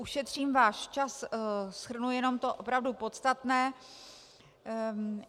Ušetřím váš čas, shrnu jenom to opravdu podstatné.